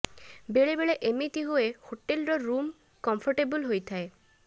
ବେଳେ ବେଳେ ଏମିତି ହୁଏ ହୋଟେଲ୍ର ରୁମ୍ କମ୍ଫଟେବଲ୍ ହୋଇଥାଏ